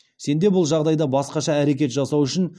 сенде бұл жағдайда басқаша әрекет жасау үшін